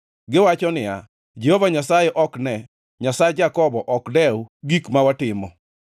Giwacho niya, “Jehova Nyasaye ok ne; Nyasach Jakobo ok dew gik ma watimo.”